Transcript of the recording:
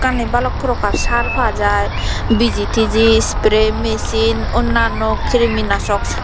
balokani balok prokar sar pa jai biji tiji spray machine onnao krimi nasok.